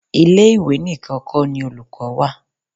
Ile-iwe nìkan kó ni olùkọ́ wà.